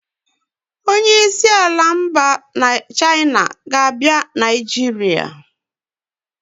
Onyeisi ala mba China ga-abịa Nigeria